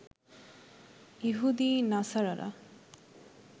ইহুদি নাছারারা